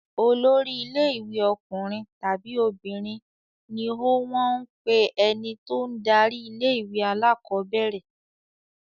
Olórí ilé-ìwé ọkùnrin tàbí obìnrin ni ó wọ́n ń pe ẹni tó ń darí ilé-ìwé alákọ̀ọ́bẹ̀rẹ̀.